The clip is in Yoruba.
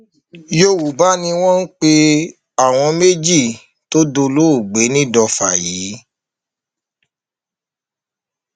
yorùbá ni wọn pe àwọn méjì tó dolóògbé nìdọfà yìí